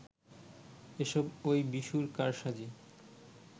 এসব ঐ বিশুর কারসাজি